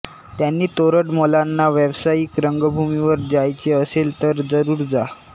त्यांनी तोरडमलांना व्यावसायिक रंगभूमीवर जायचे असेल तर जरूर जा